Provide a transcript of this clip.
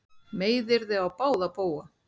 Meiðyrði á báða bóga